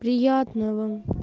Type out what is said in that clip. приятного